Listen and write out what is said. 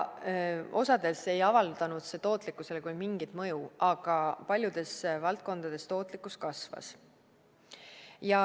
Osades ei avaldanud see tootlikkusele küll mingit mõju, aga paljudes valdkondades tootlikkus kasvas.